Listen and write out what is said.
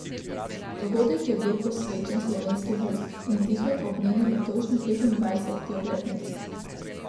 Dogodek je bil posvečen Slovenski vojski, in sicer ob njeni letošnji petindvajseti obletnici.